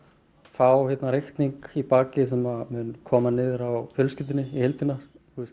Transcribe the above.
fá reikning í bakið sem mun koma niður á fjölskyldunni í heildina